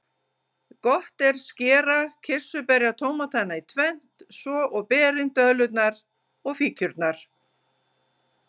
Gott er skera kirsuberjatómatana í tvennt, svo og berin, döðlurnar og fíkjurnar.